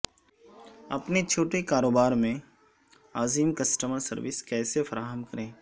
اپنے چھوٹے کاروبار میں عظیم کسٹمر سروس کیسے فراہم کریں